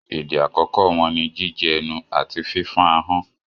Èdè àkọ́kọ́ wọn ni jíjẹnu àti fífọ́n ahọ́n.